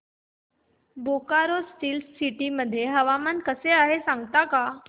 Bokaro steel city मध्ये हवामान कसे आहे सांगता का